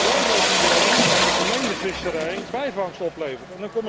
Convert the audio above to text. Wel weet iedereen dat de gemengde visserij bijvangst oplevert.